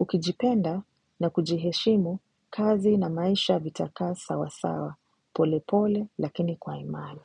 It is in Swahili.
Ukijipenda na kujiheshimu kazi na maisha vitakaa sawasawa polepole lakini kwa imani.